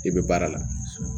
I bɛ baara la